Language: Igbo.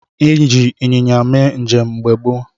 Eji ịnyịnya mee njem mgbe gboo.